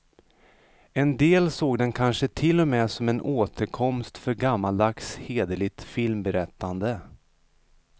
En del såg den kanske till och med som en återkomst för gammaldags hederligt filmberättande.